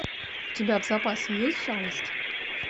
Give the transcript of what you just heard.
у тебя в запасе есть жалость